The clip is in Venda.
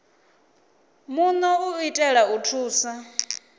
muno u itela u thusa